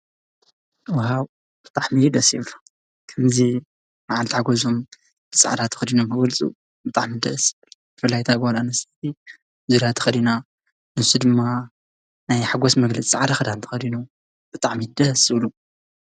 ዋው! ብጣዓሚ ደስ ይብሉ። ከምዚ ማዓልታዊ ጉዕዞ ብፃዕዳ ተኸዲኖም ክወፁ ብጣዓሚ ደስ ይብሉ። ብፍላይ እታ ጓል ኣንስተይቲ ዙርያ ተኸዲና ንሱ ድማ ናይ ሓጎስ መግለፂ ፃዕዳ ክዳን ተኸዲኑ ብጣዓሚ ደስ ዝብሉ።